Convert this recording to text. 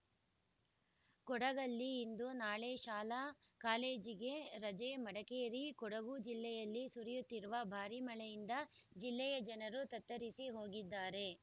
ಕೊಡಗಲ್ಲಿ ಇಂದು ನಾಳೆ ಶಾಲಾಕಾಲೇಜಿಗೆ ರಜೆ ಮಡಿಕೇರಿ ಕೊಡಗು ಜಿಲ್ಲೆಯಲ್ಲಿ ಸುರಿಯುತ್ತಿರುವ ಭಾರಿ ಮಳೆಯಿಂದ ಜಿಲ್ಲೆಯ ಜನರು ತತ್ತರಿಸಿ ಹೋಗಿದ್ದಾರೆ